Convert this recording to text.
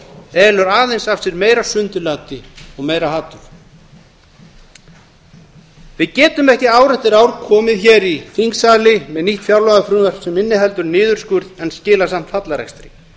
elur aðeins af sér meira sundurlyndi og meira hatur við getum ekki ár eftir ár komið hér í þingsali með nýtt fjárlagafrumvarp sem inniheldur niðurskurð en skilar samt hallarekstri